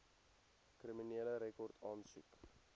kriminele rekord aansoek